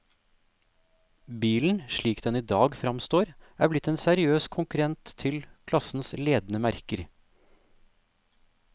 Bilen, slik den i dag fremstår, er blitt en seriøs konkurrent til klassens ledende merker.